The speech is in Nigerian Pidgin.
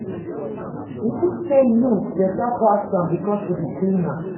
You tink sey you beta pass am because she be cleaner?